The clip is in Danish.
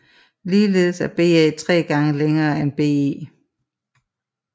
Ligeledes er BA 3 gange længere end BE